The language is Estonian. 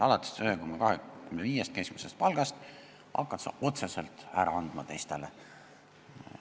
Alates sellest, kui sa hakkad teenima 1,25 keskmist palka, hakkad sa otseselt ära andma teistele.